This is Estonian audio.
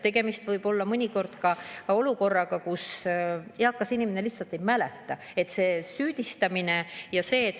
Tegemist võib mõnikord olla ka olukorraga, kus eakas inimene lihtsalt ei mäleta, ja tekib süüdistamine.